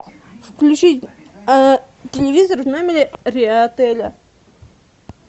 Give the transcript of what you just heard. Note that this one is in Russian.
включить телевизор а в номере отеля